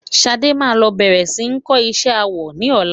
Ṣadé máa lọ bẹ̀rẹ̀ sí ní kọ́ isé awọ ní ọlá.